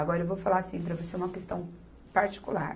Agora, eu vou falar assim para você uma questão particular.